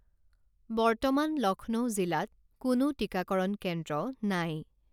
বৰ্তমান লক্ষ্ণৌ জিলাত কোনো টিকাকৰণ কেন্দ্ৰ নাই